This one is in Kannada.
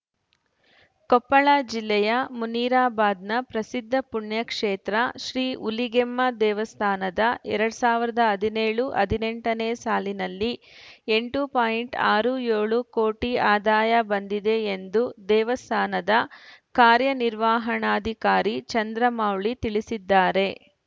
ಕೊಪ್ಪಳ ಜಿಲ್ಲೆಯ ಮುನಿರಾಬಾದ್‌ನ ಪ್ರಸಿದ್ಧ ಪುಣ್ಯಕ್ಷೇತ್ರ ಶ್ರೀ ಹುಲಿಗೆಮ್ಮ ದೇವಸ್ಥಾನದ ಎರಡ್ ಸಾವಿರದ ಹದಿನೇಳು ಹದಿನೆಂಟನೇ ಸಾಲಿನಲ್ಲಿ ಎಂಟುಪಾಯಿಂಟ್ ಅರು ಏಳು ಕೊಟಿ ಅದಾಯ ಬಂದಿದೆ ಎಂದು ದೇವಸ್ಥಾನದ ಕಾರ್ಯನಿರ್ವಾಹಣಾಧಿಕಾರಿ ಚಂದ್ರಮೌಳಿ ತಿಳಿಸಿದ್ದಾರೆ